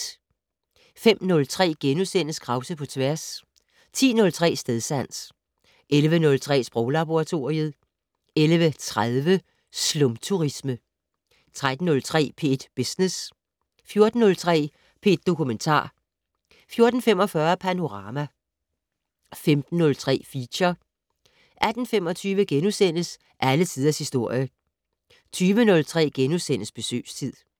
05:03: Krause på tværs * 10:03: Stedsans 11:03: Sproglaboratoriet 11:30: Slumturisme 13:03: P1 Business 14:03: P1 Dokumentar 14:45: Panorama 15:03: Feature 18:25: Alle Tiders Historie * 20:03: Besøgstid *